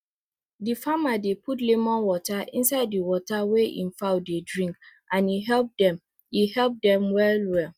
the farmer dey put lemon water inside the water wey e fowl dey drink and e help dem e help dem well well